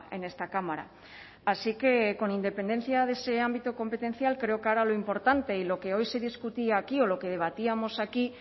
en esta cámara así que con independencia de ese ámbito competencial creo que ahora lo importante y lo que hoy se discutía aquí o lo que debatíamos aquí